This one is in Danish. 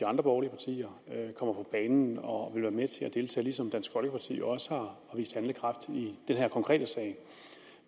andre borgerlige partier kommer på banen og ligesom dansk folkeparti der også har vist handlekraft i den her konkrete sag